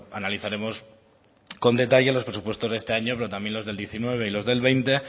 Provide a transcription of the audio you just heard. analizaremos con detalles los presupuestos de este año pero también los del diecinueve y los del veinte